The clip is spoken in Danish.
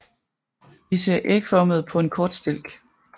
Disse er ægformede på en kort stilk